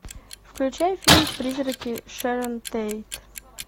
включай фильм призраки шэрон тейт